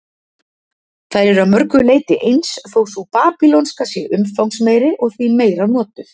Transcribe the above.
Þær eru að mörgu leyti eins, þó sú babýlonska sé umfangsmeiri og því meira notuð.